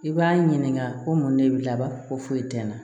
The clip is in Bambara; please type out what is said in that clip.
I b'a ɲininka ko mun de bi laban ko foyi tɛ n na